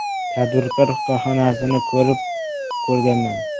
Tadbirkor korxonasini borib ko‘rganman.